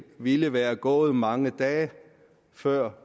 ville være gået mange dage før